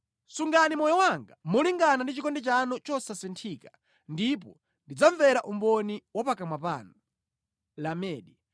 Sungani moyo wanga molingana ndi chikondi chanu chosasinthika, ndipo ndidzamvera umboni wa pakamwa panu.